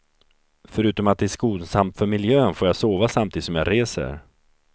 Förutom att det är skonsamt för miljön får jag sova samtidigt som jag reser.